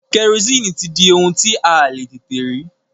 Kẹrosini ti di ohun tí a le tètè rí.